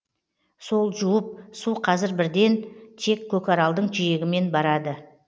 сол жуып су қазір бірден тек көкаралдың жиегімен барады